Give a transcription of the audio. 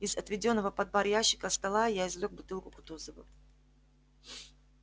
из отведённого под бар ящика стола я извлёк бутылку кутузова